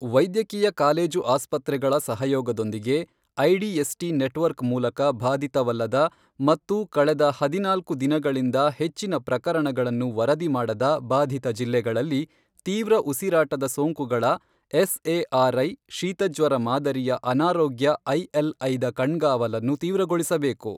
ವೈದ್ಯಕೀಯ ಕಾಲೇಜು ಆಸ್ಪತ್ರೆಗಳ ಸಹಯೋಗದೊಂದಿಗೆ ಐಡಿಎಸ್ಟಿ ನೆಟ್ವರ್ಕ್ ಮೂಲಕ ಬಾಧಿತವಲ್ಲದ ಮತ್ತು ಕಳೆದ ಹದಿನಾಲ್ಕು ದಿನಗಳಿಂದ ಹೆಚ್ಚಿನ ಪ್ರಕರಣಗಳನ್ನು ವರದಿ ಮಾಡದ ಬಾಧಿತ ಜಿಲ್ಲೆಗಳಲ್ಲಿ ತೀವ್ರ ಉಸಿರಾಟದ ಸೋಂಕುಗಳ ಎಸ್ಎಆರ್ಐ ಶೀತಜ್ವರ ಮಾದರಿಯ ಅನಾರೋಗ್ಯ ಐಎಲ್ಐ ದ ಕಣ್ಗಾವಲನ್ನು ತೀವ್ರಗೊಳಿಸಬೇಕು.